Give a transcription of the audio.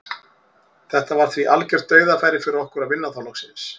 Þetta var því algjört dauðafæri fyrir okkur að vinna þá loksins.